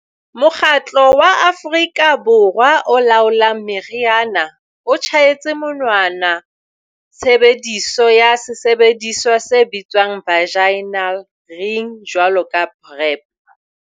Mokgatlo wa Afrika Borwa o Laolang Meriana o tjhaetse monwana tshebediso ya sesebediswa se bitswang vaginal ring jwalo ka PrEP.